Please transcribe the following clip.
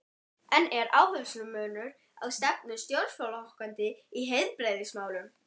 En er áherslumunur á stefnu stjórnarflokkanna í heilbrigðismálum?